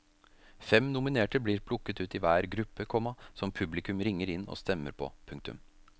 Fem nominerte blir plukket ut i hver gruppe, komma som publikum ringer inn og stemmer på. punktum